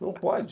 Não pode.